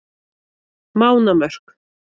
Mánamörk